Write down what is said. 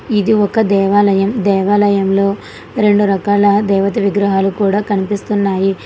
ఇది ఒక దేవాలయం దేవాలయంలో రెండు రకాల దేవత విగ్రహాలు కూడా కనిపిస్తున్నాయి.